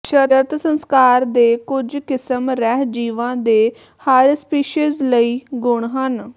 ਸ਼ਰਤ ਸੰਸਕਾਰ ਦੇ ਕੁਝ ਕਿਸਮ ਰਹਿ ਜੀਵਾ ਦੇ ਹਰ ਸਪੀਸੀਜ਼ ਲਈ ਗੁਣ ਹਨ